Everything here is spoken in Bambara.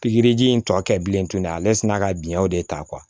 Pikiriji in tɔ kɛ bilen tuguni ale sina ka biɲɛw de ta